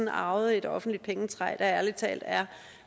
har arvet et offentligt pengetræ der ærlig talt er